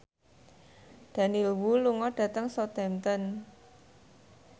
Daniel Wu lunga dhateng Southampton